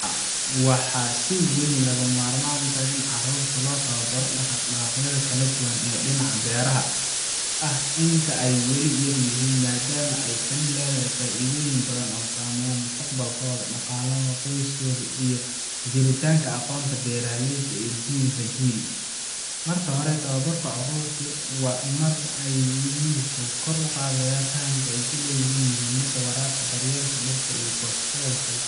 Haa, waxaa si weyn lagama maarmaan u ah in carruurta loo tababaro dhaqdhaqaaqyada kala duwan ee dhinaca beeraha ah inta ay weli yar yihiin, maadaama ay tani leedahay faa’iidooyin badan oo saameynaya mustaqbalkooda, dhaqaalaha qoyska, iyo sii jiritaanka aqoonta beeraleyda ee jiilba jiil. Marka hore, tababarka carruurta marka ay yar yihiin wuxuu kor u qaadaa fahamka ay u leeyihiin muhiimadda beeraha, taasoo ay uga faa’iideysan karaan mustaqbalka. Haddii caruurtu bartaan xirfadaha sida abuurka, waraabka, daryeelka dhirta, iyo goosashada, waxay